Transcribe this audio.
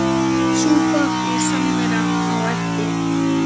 Súpa og samvera á eftir.